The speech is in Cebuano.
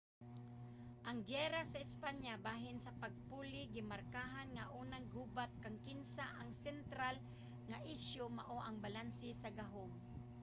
ang giyera sa espanya bahin sa pagpuli gimarkahan nga unang gubat kang kinsa ang sentral nga isyu mao ang balanse sa gahum